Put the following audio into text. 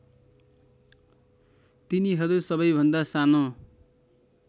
तिनीहरू सबैभन्दा सानो